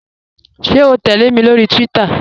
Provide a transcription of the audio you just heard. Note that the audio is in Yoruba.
Ṣẹ̀ o tẹlẹ̀ mi lórí Twitter?